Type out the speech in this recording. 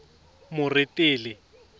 moretele